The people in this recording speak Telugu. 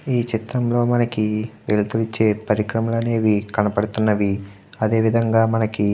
ఈ చిత్రం లో మనకి వెలుతురు ఇచ్చే పరికరలు అనేవి కనబడుతున్నవి అదేవిధంగా మనకి --